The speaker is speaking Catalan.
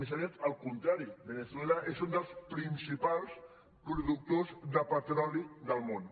més aviat el contrari veneçuela és un dels principals productors de petro·li del món